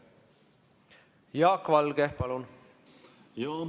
Jaak Valge, palun!